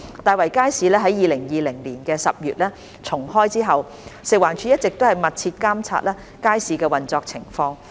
大圍街市於2020年10月重開後，食環署一直密切監察街市的運作情況。